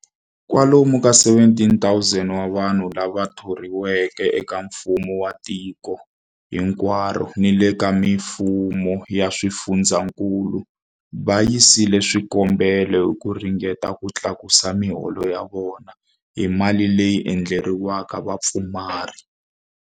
Kwalomu ka 17,000 wa vanhu lava thoriweke eka mfumo wa tiko hinkwaro ni le ka mifumo ya swifundzankulu va yisile swikombelo hi ku ringeta ku tlakusa miholo ya vona hi mali leyi endleriweke vapfumari.